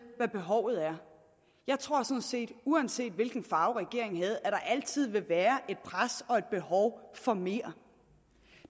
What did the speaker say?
hvad behovet er jeg tror sådan set at uanset hvilken farve regeringen havde altid vil være et pres og et behov for mere